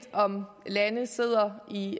om landene sidder i